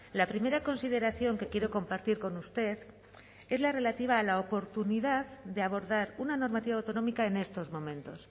la primera consideración que quiero compartir con usted es la relativa a la oportunidad de abordar una normativa autonómica en estos momentos